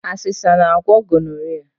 Asesa na-agwọ gonoria.